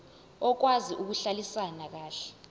okwazi ukuhlalisana kahle